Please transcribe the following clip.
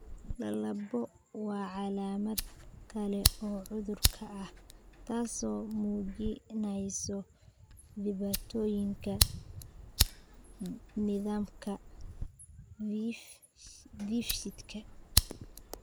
Lalabbo waa calaamad kale oo cudurka ah, taas oo muujinaysa dhibaatooyinka nidaamka dheefshiidka.